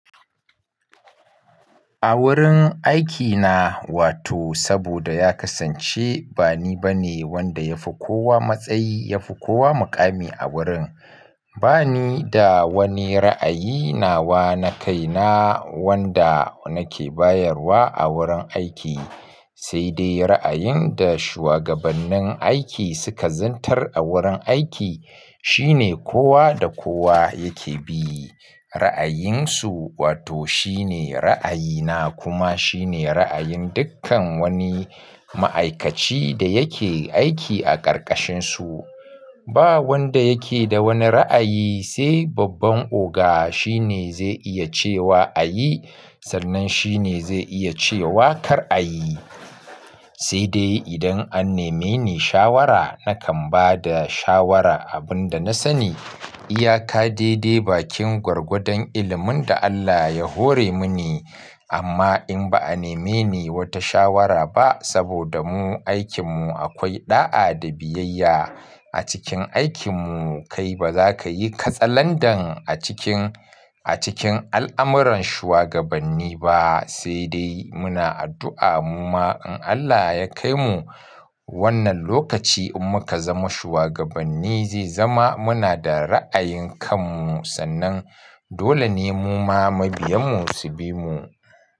A wurin aikina, wato saboda ya kasance ba ni ba ne wanda ya fi kowa matsayi, ya fi kowa muƙami a wurin. Ba ni da wani ra'ayi nawa na kai na wanda nake bayarwa a wurin aiki. Sai dai ra'ayin da shuwagabannin aiki suka zantar a wurin aiki. Shi ne kowa da kowa yake bi, ra'ayinsu wato shi ne ra'ayina kuma shi ne ra'ayin dukkan wani ma'aikaci da yake aiki a ƙarƙashinsu. Ba wanda yake da wani ra'ayi sai babban oga. Shi ne zai iya cewa a yi sannan shi ne zai iya cewa kar a yi. Sai dai idan an nemeni shawara, nakan ba da shawara abin da na sani. Iyaka de-de bakin gwargwadon ilimin da Allah ya hore mini. Amma in ba a nemeni wata shawara ba saboda mu aikinmu akwai ɗa'a da biyayya a cikin aikin mu. Kai ba za ka yi katsalandan a cikin, a cikin al'amuran shugabanni ba. Sai dai muna addu'a mu ma in Allah ya kai mu wannan lokaci in muka zama shuwagabanni zai zama muna da ra'ayin kan mu. Sannan dole ne mu ma mabiyanmu su bi mu.